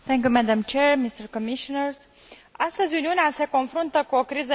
Astăzi Uniunea se confruntă cu o criză economică, financiară și socială.